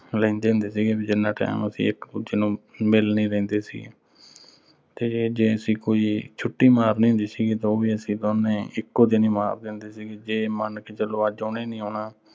ਨੀਂ ਲੈਂਦੇ ਹੁੰਦੇ ਸੀਗੇ। ਵੀ ਜਿੰਨਾ time ਅਸੀਂ ਇੱਕ ਦੂਜੇ ਨੂੰ ਮਿਲ ਨੀਂ ਲੈਂਦੇ ਸੀਗੇ। ਤੇ ਜੇ ਅਸੀਂ ਕੋਈ ਛੁੱਟੀ ਮਾਰਨੀ ਹੁੰਦੀ ਸੀਗੀ ਤਾਂ ਉਹ ਵੀ ਅਸੀਂ ਦੋਵੇਂ ਇਕੋ ਦਿਨ ਹੀ ਮਾਰਦੇ ਹੁੰਦੇ ਸੀਗੇ। ਜੇ ਮੰਨ ਕੇ ਚੱਲੇ ਅੱਜ ਉਹਨੇ ਨੀਂ ਆਉਣਾ